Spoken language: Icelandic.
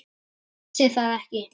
Hún vissi það ekki.